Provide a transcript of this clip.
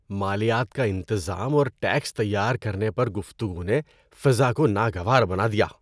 مالیات کا انتظام اور ٹیکس تیار کرنے پر گفتگو نے فضا کو ناگوار بنا دیا۔